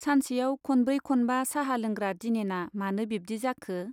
सानसेयाव खनब्रै खनबा चाहा लेंग्रा दिनेना मानो बिब्दि जाखो !